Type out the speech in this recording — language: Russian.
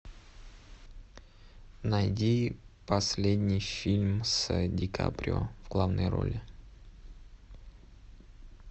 найди последний фильм с ди каприо в главной роли